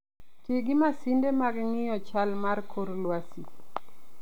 Ti gi masinde mag ng'iyo chal mar kor lwasi.